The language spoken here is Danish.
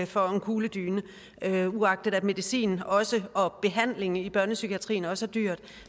for en kugledyne uagtet at medicin og behandling i børnepsykiatrien også er dyrt